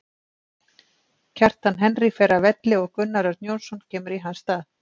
Kjartan Henry fer af velli og Gunnar Örn Jónsson kemur í hans stað.